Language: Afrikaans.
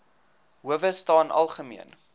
howe staan algemeen